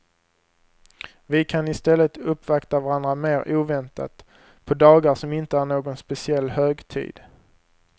Vi kan istället uppvakta varandra mer oväntat, på dagar som inte är någon speciell högtid.